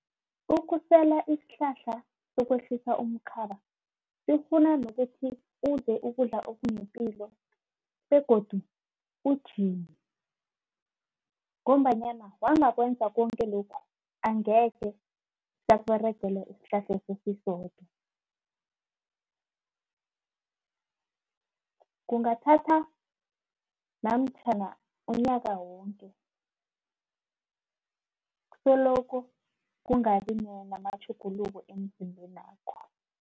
Ukusela isihlahla sokwehlisa umkhaba sifuna nokuthi udle ukudla okunepilo begodu ujime ngombanyana wangakwenza konke lokhu angekhe sakuberegele isihlahleso sisodwa kungathatha namtjhana unyaka wonke soloko kungabi namatjhuguluko emzimbenakho.